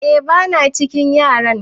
eh bana cikin yaran